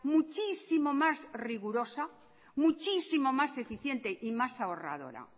muchísimo más rigurosa muchísimo más eficiente y más ahorradora